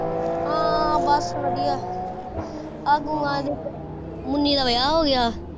ਹਾਂ ਬਸ ਵਧੀਆ ਆ ਦੀ ਮੁੰਨੀ ਦਾ ਵਿਆਹ ਹੋਗਿਆ।